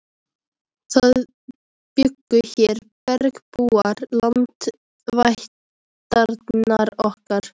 Það bjuggu hér bergbúar, landvættirnar okkar.